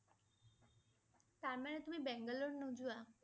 তাৰ মানে তুমি বাংগালোৰ নোযোৱা?